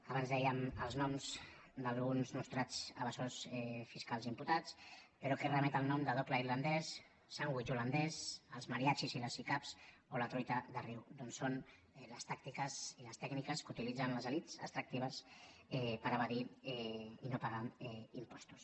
abans dèiem els noms d’alguns nostrats evasors fis·cals imputats però què remet al nom de doble irlan·dès sandvitx holandès els mariachis i les sicav o la truita de riu doncs són les tàctiques i les tèc·niques que utilitzen les elits extractives per evadir i no pagar impostos